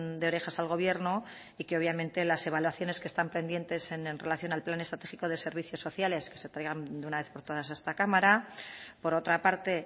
de orejas al gobierno y que obviamente las evaluaciones que están pendientes en relación al plan estratégico de servicios sociales que se traigan de una vez por todas a esta cámara por otra parte